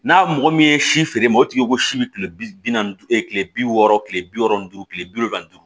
N'a mɔgɔ min ye si feere ma o tigi ko si bɛ kile bi naani ni duuru kile bi wɔɔrɔ kile bi wolonfila duuru tile bi wolonfi